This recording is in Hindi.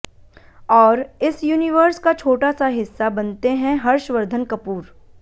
और इस यूनिवर्स का छोटा सा हिस्सा बनते हैं हर्षवर्धन कपूर